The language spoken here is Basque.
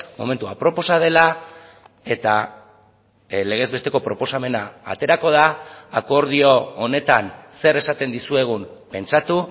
momentu aproposa dela eta legezbesteko proposamena aterako da akordio honetan zer esaten dizuegun pentsatu